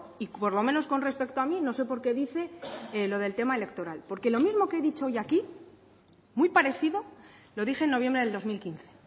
y por lo menos con respecto a mí no sé por qué dice lo del tema electoral porque lo mismo que he dicho hoy aquí muy parecido lo dije en noviembre del dos mil quince